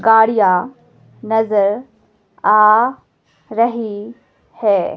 गाड़ियां नजर आ रही है।